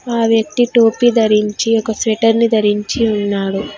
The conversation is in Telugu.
ఆ వ్యక్తి టోపీ ధరించి ఒక స్వెటర్ని ధరించి ఉన్నాడు.